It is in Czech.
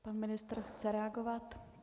Pan ministr chce reagovat.